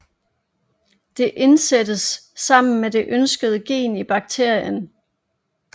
Det indsættes sammen med det ønskede gen i bakterien